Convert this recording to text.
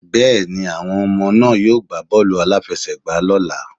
Bẹ́ẹ̀ni, àwọn ọmọ náà yóò gbá bọ́ọ̀lù-aláfẹ́sẹ̀gbà lọ́ la.